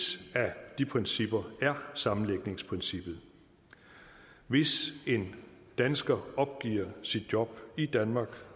af de principper er sammenlægningsprincippet hvis en dansker opgiver sit job i danmark